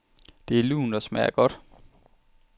Det er lunt og smager godt.